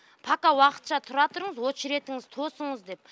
пока уақытша тұра тұрыңыз очеретіңіз тосыңыз деп